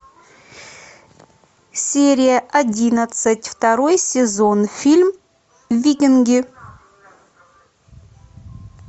серия одиннадцать второй сезон фильм викинги